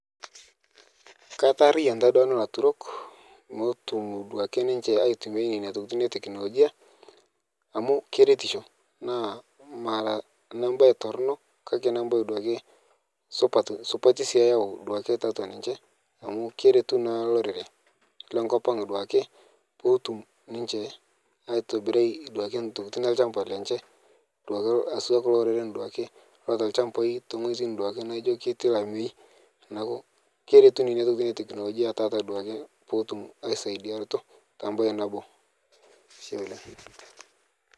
Kaitarian nanu elaturok petum ninche aitumia Nena tokitin amu keretisho mara enebaye Torono kake nebaye supat eyau tiatua ninche amu keretu naa olorere lenkop ang netum ninche aitobiraki entokitin olchamba lenye kulo oreren laijio keeta ilchambai tewueji netii olamei keretu Kuna tokitin ee tekinoloji petum aisaidia mbae nabo